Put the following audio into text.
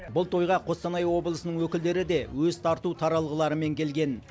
бұл тойға қостанай облысының өкілдері де өз тарту таралғыларымен келген